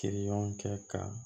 Teriɲɔgɔnkɛ ka